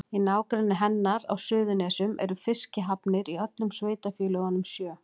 Í nágrenni hennar á Suðurnesjum eru fiskihafnir í öllum sveitarfélögunum sjö.